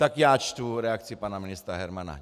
Tak já čtu reakci pana ministra Hermana.